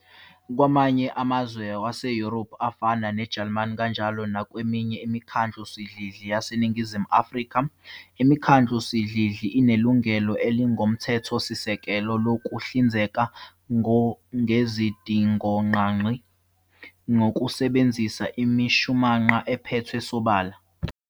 Kwamanye amazwe wase-Yurophu, afana neJalimani, kanjalo nakweminye imikhandlusidlidli yaseNingizimu Afrika, imikhandlusidlidli inelungelo elingokomthethosisekelo lokuhlinzeka ngezidingongqangi ngokusebenzisa imishumanqa ephethwe sobala.